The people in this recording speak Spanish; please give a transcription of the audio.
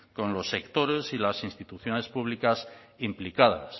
con los sectores y las instituciones públicas implicadas